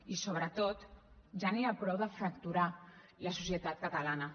i sobretot ja n’hi ha prou de fracturar la societat catalana